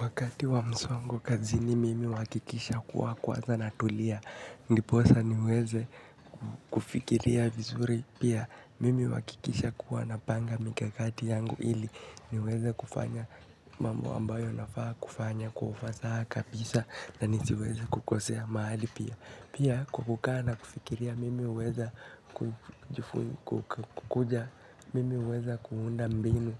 Wakati wa msongo kazini mimi huakikisha kuwa kwanza na tulia. Ndiposa niweze kufikiria vizuri. Pia mimi huakikisha kuwa napanga mikakati yangu ili. Niweze kufanya mambo ambayo nafaa kufanya kwa fasaha kabisa na nisiweze kukosea mahali pia. Pia kwa kukaa na kufikiria mimi huweza kukuja. Mimi huweza kuunda mbinu